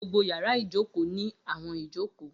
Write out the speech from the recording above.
Gbogbo yàrá ìjókòó ni awọn ijoko.